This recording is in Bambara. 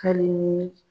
Ka di n ye